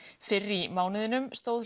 fyrr í mánuðinum stóð